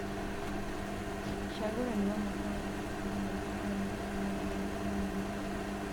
ũcagũrani wa mwaka wa ngiri igĩrĩ na igĩrĩ warehire mogarũrũku manene.